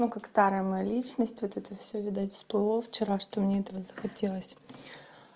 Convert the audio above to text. но как старая моя личность вот это всё видать сплыло вчера что мне этого захотелось